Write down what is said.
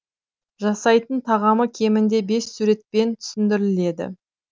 жасайтын тағамы кемінде бес суретпен түсіндіріледі